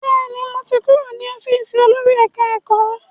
Bẹ́ẹ̀ni, mo ti kúrò ní ọ́fíìsì olórí ẹ̀ká-ẹ̀kọ́